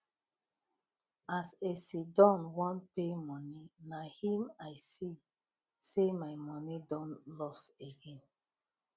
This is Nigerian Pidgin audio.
as a siddon wan pay money na him i see say my money don loss again